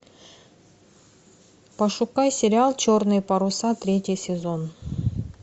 пошукай сериал черные паруса третий сезон